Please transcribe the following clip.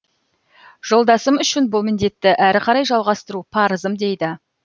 жолдасым үшін бұл міндетті әрі қарай жалғастыру парызым дейді